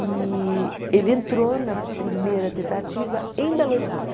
E ele entrou na primeira tentativa em Belo Horizonte.